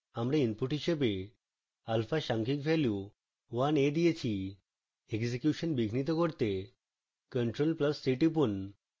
আমরা input হিসাবে alphaসাংখ্যিক value 1 a দিয়েছি